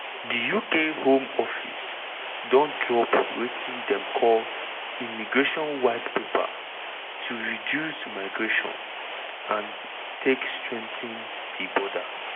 di uk home office don drop wetin dem call immigration white paper to reduce migration and take strengthen di border.